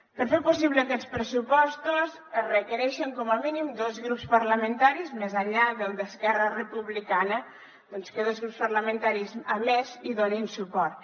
per fer possible aquests pressupostos es requereixen com a mínim dos grups parlamentaris més enllà del d’esquerra republicana que dos grups parlamentaris més hi donin suport